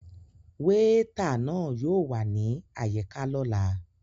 Weeta náà yóò wa ni ayika lọla.